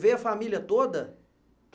Veio a família toda?